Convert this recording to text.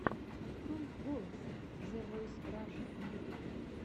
открой голос зэ войс раша на ютубе